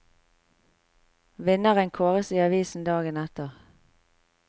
Vinneren kåres i avisen dagen etter.